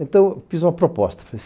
Então, fiz uma proposta.